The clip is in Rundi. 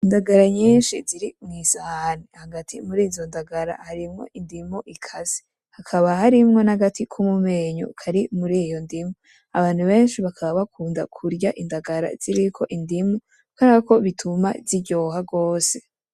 Indagara nyinshi ziri kwisahani , hagati murizo ndagara harimwo indimu ikase , hakaba harimwo nagati ko mumenyo kari muriyondimu, abantu benshi bakaba bakunda kurya indagara ziriko indimu kuberako ituma ziryoha gose